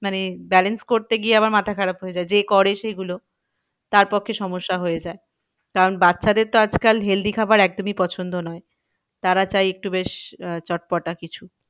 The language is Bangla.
মানে balance করতে গিয়ে আবার মাথা খারাপ হয়ে যায় যে করে সেগুলো তারপক্ষে সমস্যা হয়ে যায়। কারণ বাচ্চাদের তো আজকাল healthy খাবার একদমই পছন্দ নয়। তারা চায় একটু বেশ আহ চট পটা কিছু।